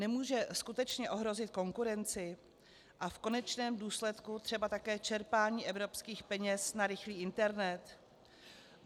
Nemůže skutečně ohrozit konkurenci a v konečném důsledku třeba také čerpání evropských peněz na rychlý internet?